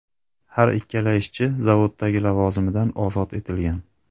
Har ikkala ishchi zavoddagi lavozimidan ozod etilgan.